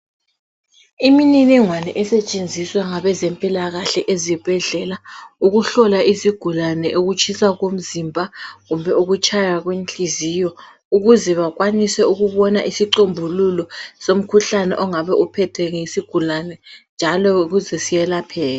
Imininingwane esetshenziswa ngabe zempilakahle ezibhedlela, ukuhlola izigulane ukutshisa komzimba kumbe ukutshaya kwenhliziyo. Ukuze bakwanise ukubona isicombululo somkhuhlane ongabe uphetheke yisigulane. Njalo ukuze siyelapheke.